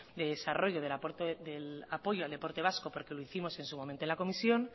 de desarrollo del aporte del apoyo al deporte vasco porque lo hicimos en su momento en la comisión